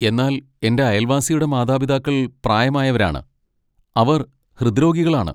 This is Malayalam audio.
എന്നാൽ എന്റെ അയൽവാസിയുടെ മാതാപിതാക്കൾ പ്രായമായവരാണ്, അവർ ഹൃദ്രോഗികളാണ്.